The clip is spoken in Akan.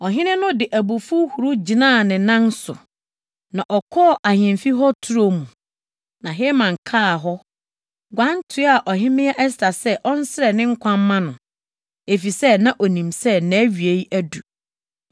Ɔhene no de abufuw huruw gyinaa ne nan so, na ɔkɔɔ ahemfi hɔ turo mu. Na Haman kaa hɔ, guan toaa Ɔhemmea Ɛster sɛ ɔnsrɛ ne nkwa mma no, efisɛ na onim sɛ nʼawie adu.